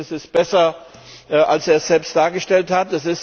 Das Ergebnis ist besser, als er es selbst dargestellt hat.